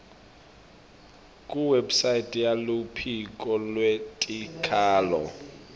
kuwebsite yeluphiko lwetikhalo